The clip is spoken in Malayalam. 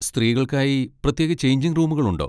സ്ത്രീകൾക്കായി പ്രത്യേക ചെയ്ഞ്ചിങ് റൂമുകൾ ഉണ്ടോ?